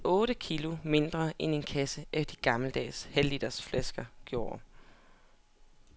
En kasse halvliters sodavand i plasticflasker vejer næsten otte kilo mindre end en kasse af de gammeldags halvliters flasker gjorde.